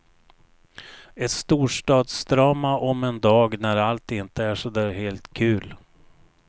Ett storstadsdrama om en dag när allt inte är så där helt kul.